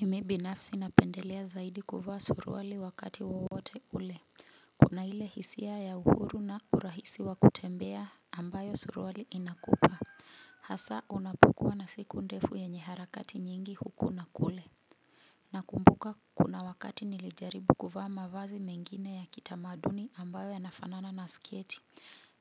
Mimi binafsi napendelea zaidi kuvaa suruali wakati wowote ule. Kuna ile hisia ya uhuru na urahisi wa kutembea ambayo suruali inakupa hasa unapokua na siku ndefu yenye harakati nyingi huku na kule. Nakumbuka kuna wakati nilijaribu kuvaa mavazi mengine ya kitamaduni ambayo ya nafanana na sketi.